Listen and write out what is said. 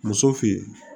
Muso fin